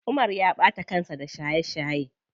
Umar ya ɓata kansa da shaye shaye.